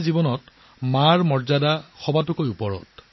'মাতৃ'ৰ মৰ্যাদা আমাৰ জীৱনত সৰ্বোচ্চ